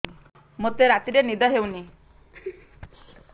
ମୋତେ ରାତିରେ ନିଦ ହେଉନି